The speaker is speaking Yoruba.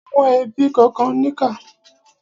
Àwọn ẹbí kànkan níkà.